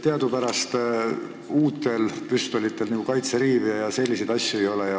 Teadupärast uutel püstolitel kaitseriive ja selliseid asju ei ole.